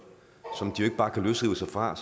som de jo ikke bare kan løsrive sig fra